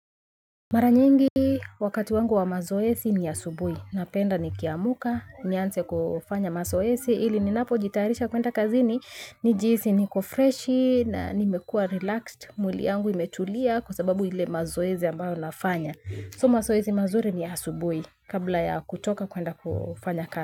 Mara nyingi wakati wangu wa mazoezi ni asubuhi. Napenda nikiamka. Nianze kufanya mazoezi. Ili ninapojitayarisha kwenda kazini. Nijihisi niko freshi na nimekua relaxed. Mwili wangu umetulia kwa sababu ile mazoezi ambayo nafanya. So mazoezi mazuri ni ya asubuhi kabla ya kutoka kwenda kufanya kazi.